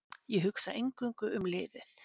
Ég hugsa eingöngu um liðið.